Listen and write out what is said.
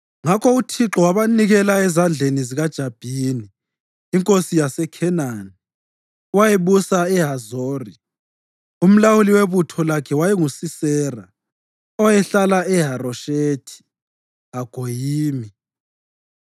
Ngakho uThixo wabanikela ezandleni zikaJabhini, inkosi yaseKhenani, owayebusa eHazori. Umlawuli webutho lakhe wayenguSisera, owayehlala eHaroshethi-Hagoyimi.